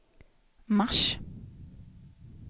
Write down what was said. mars